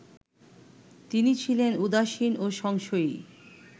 তিনি ছিলেন উদাসীন ও সংশয়ী